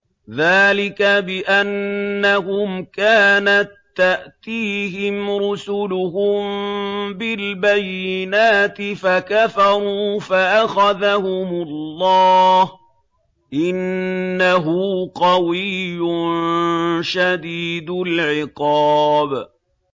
ذَٰلِكَ بِأَنَّهُمْ كَانَت تَّأْتِيهِمْ رُسُلُهُم بِالْبَيِّنَاتِ فَكَفَرُوا فَأَخَذَهُمُ اللَّهُ ۚ إِنَّهُ قَوِيٌّ شَدِيدُ الْعِقَابِ